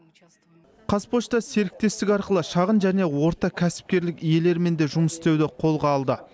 қазпошта серіктестік арқылы шағын және орта кәсіпкерлік иелерімен де жұмыс істеуді қолға алды